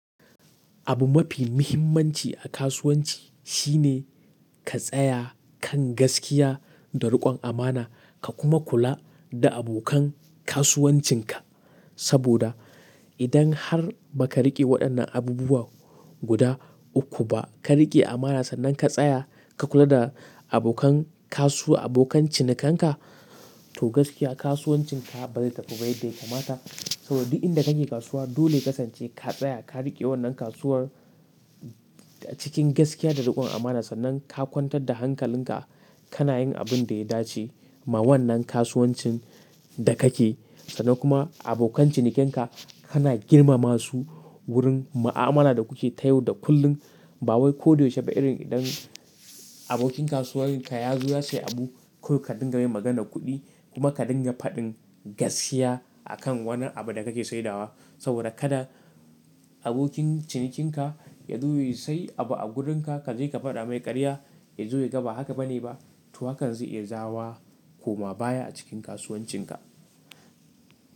Abu mafi muhimmanci a kasuwanci shine ka tsaya kan gaskiya da riƙon amana ka kuma kula da abokan kasuwancinka. Saboda idan har baka riƙe waɗannan abubuwa guda uku ba, ka riƙe amana sannan ka tsaya ka kula da abokan kasu-- abokan cinikanka to gaskiya kasuwancinka ba zai tafi ba yadda ya kamata. Saboda duk inda kake kasuwa dole ka sance ka tsaya ka riƙe wannan kasuwar cikin gaskiya da riƙon amana sannan ka kwantar da hankalinka kana yin abinda ya dace ma wannan kasuwancin da kake. Sannan kuma abokan cinikanka kana girmama su wurin ma'amala da kuke ta yau da kullum. Bawai koda yaushe ba irin idan abokin kasuwancinka yazo ya sayi abu kawai ka dinga mai magana kuɗi kuma ka dinga faɗin gaskiya a kan wani abu da kake saidawa. Saboda kada abokin cinikinka yazo ya sayi abu a gurinka kaje ka faɗa mai ƙarya yazo yaga ba haka bane ba. To hakan zai iya jawoma koma baya a cikin kasuwancinka.